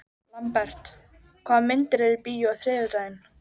Lambert, hvaða myndir eru í bíó á þriðjudaginn?